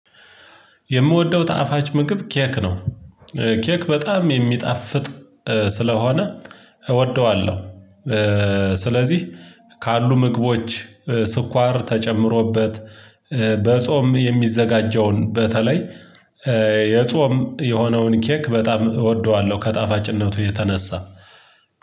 የምወደው ጣፋጭ ምግብ ኬክ ነው። ኬክ በጣም የሚጣፍጥ ስለሆነ እወደዋለሁ። ስለዚህ ካሉ ምግቦች ስኳር ተጨምሮበት በጾም የሚዘጋጀውን በተለይ የጾም የሆነውን ኬክ በጣም እወደዋለሁ። ከጣፋጭነቱ የተነሳ